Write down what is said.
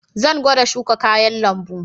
Zan gwada shuka kayan lambu.